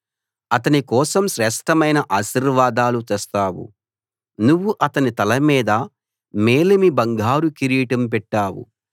అతని కోసం శ్రేష్ఠమైన ఆశీర్వాదాలు తెస్తావు నువ్వు అతని తల మీద మేలిమి బంగారు కిరీటం పెట్టావు